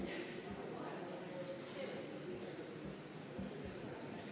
Juhtivkomisjoni ettepanek leidis toetust.